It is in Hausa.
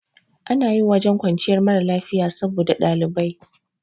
Ana yin wajen kwanciyar mara lafiya saboda ɗalibai